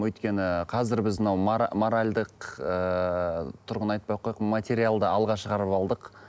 өйткені қазір біз мынау моралдық ыыы тұрғыны айтпай ақ қояйық материалды алға шығарып алдық